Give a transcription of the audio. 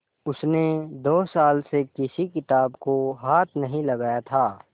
उसने दो साल से किसी किताब को हाथ नहीं लगाया था